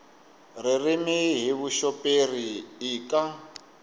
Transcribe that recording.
ririmi hi vuxoperi i ka